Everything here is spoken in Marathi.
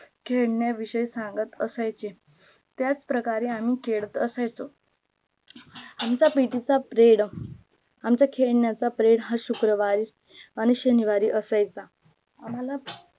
खेडण्या विषय सांगत असायचे त्याच प्रकारे आम्ही खेडत असायचो आमचा PT चा period आमच्या खेड्ण्याचा period हा शुक्रवारी आणी शनिवारी असायचा आम्हाल